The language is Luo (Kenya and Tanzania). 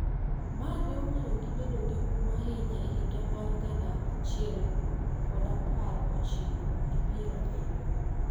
ma ne omiyo gibedo gi huma ahinya e higa mag gana achiel prapar ochiko gi piero abiriyo .